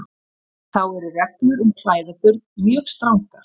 Þá eru reglur um klæðaburð mjög strangar.